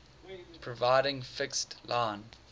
providing fixed line